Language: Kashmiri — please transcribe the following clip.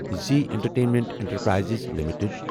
Zee entertainment enterprises limited